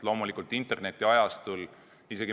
Loomulikult internetiajastul on asjad teisiti.